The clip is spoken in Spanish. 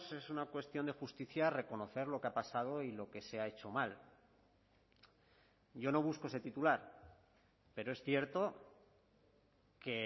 es una cuestión de justicia reconocer lo que ha pasado y lo que se ha hecho mal yo no busco ese titular pero es cierto que